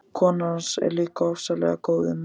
Konan hans er líka ofsalega góð við mann.